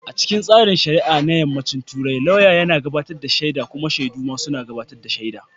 A cikin tsarin shari'a na Yammacin Turai, lauyan yana gabatar da shaida kuma shaidu suna ba da shaida.